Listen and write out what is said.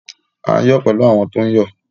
À n yọ pẹ̀lú àwọn tó ń yọ